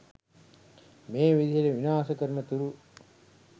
මේ විදිහට විනාශ කරනතුරු